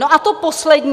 No a to poslední.